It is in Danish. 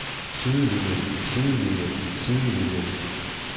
sidelinien sidelinien sidelinien